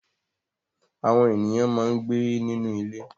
Àwọn ènìyàn máa ń gbé nínú ilé.